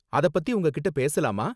அதப் பத்தி உங்ககிட்ட பேசலாமா?